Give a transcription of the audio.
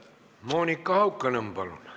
Monika Haukanõmm, palun!